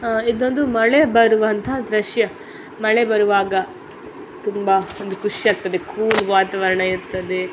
ಇದೊಂದು ಮಳೆ ಬರುವಂತಹ ದೃಶ್ಯ ಮಳೆ ಬರುವಾಗ ತುಂಬ ಒಂದು ಖುಷಿ ಆಗ್ತುದೆ ಕೂಲ್ ವಾತಾವರಣ ಇರ್ತದೆ.